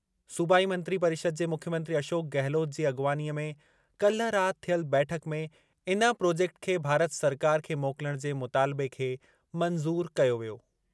सूबाई मंत्री परिषद जे मुख्यमंत्री अशोक गहलोत जी अॻवानीअ में काल्हि राति थियल बैठक में इन प्रोजेक्ट खे भारत सरकार खे मोकिलण जे मुतालिबे खे मंज़ूरु कयो वियो।